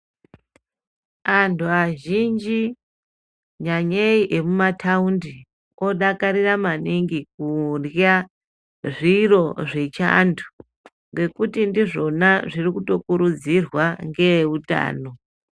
Antu azhinji, nyanyei emumataundi, odakarira maningi kurya zviro zvechiantu, ngekuti ndizvona zviri kutokurudzirwa ngeeutano.